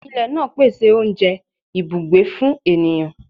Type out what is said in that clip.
Ilẹ naa pese ounjẹ, ibugbe fun eniyan